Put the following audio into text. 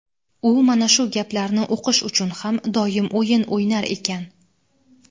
U mana shu gaplarni o‘qish uchun ham doim o‘yin o‘ynar ekan.